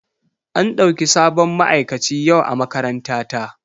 An ɗauki sabon ma'aikaci yau a makarantata.